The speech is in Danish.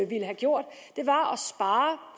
ville have gjort